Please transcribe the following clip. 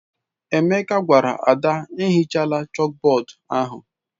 Emeka gwara Ada, ehichala chalkboard ahụ!